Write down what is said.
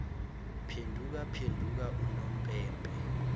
phenduka phenduka unompempe